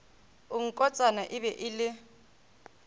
nkotsana e be e le